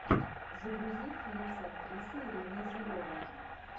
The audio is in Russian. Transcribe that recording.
загрузи фильм с актрисой ириной зеленой